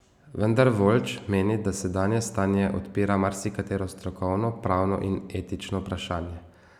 Vendar Voljč meni, da sedanje stanje odpira marsikatero strokovno, pravno in etično vprašanje.